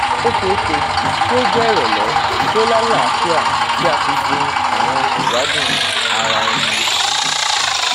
o ṣeeṣe ki o jẹ irọlẹ ti o lalaafia ti a fi jin awọn aṣegbadun araẹni